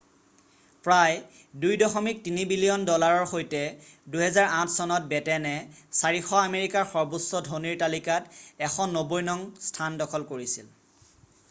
প্ৰায় $2.3 বিলিয়ন ডলাৰৰ সৈতে 2008 চনত বেটেনে 400 আমেৰিকাৰ সৰ্বোচ্চ ধনীৰ তালিকাত 190 নং স্থান দখল কৰিছিল